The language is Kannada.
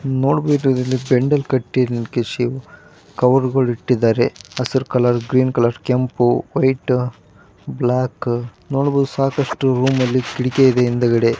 ನೋಡಬಹುದು ಇಲ್ಲಿ ಬಂಡಲ್ ಕಟ್ಟಿ ಇಟ್ಟಿದ್ದಾರೆ ಕವರ್ ಅಲ್ಲಿ ಇಟ್ಟಿದ್ದಾರೆ ಹೆಸರುಕಾಲ ಗ್ರೀನ್ ಕಲರ್ ಕೆಂಪು ಬ್ಲಾಕ್ ನೋಡಬಹುದು ಸಾಕಷ್ಟು ರೂಮಲ್ಲಿಗ್ ಇಟ್ಟಿದೆ ಹಿಂದ್ಗಡೆ--